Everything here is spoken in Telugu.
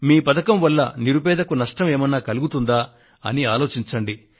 మీ పథకం వల్ల నిరుపేదకు నష్టం ఏమన్నా కలుగుతుందా అని ఆలోచించండి